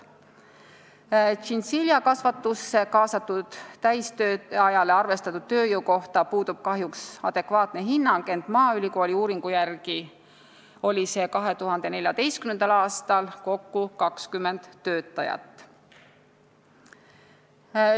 Tšintšiljakasvatusse kaasatud täistööajale arvestatud tööjõu kohta puudub kahjuks adekvaatne hinnang, ent maaülikooli uuringu järgi oli see 2014. aastal kokku 20 töötajat.